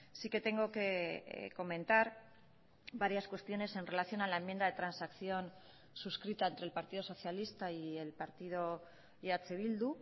sí que tengo que comentar varias cuestiones en relación a la enmienda de transacción suscrita entre el partido socialista y el partido eh bildu